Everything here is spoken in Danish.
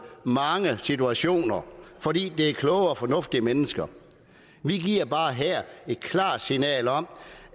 mange situationer fordi det er kloge og fornuftige mennesker vi giver bare her et klart signal om